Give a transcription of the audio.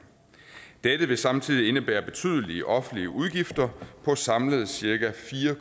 dette vil samtidig indebære betydelige offentlige udgifter på samlet cirka fire